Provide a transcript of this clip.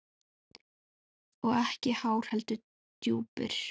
Og ekki háir, heldur djúpir.